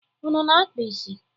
Unu ana-akpa isi?